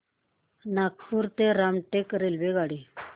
नागपूर ते रामटेक रेल्वेगाडी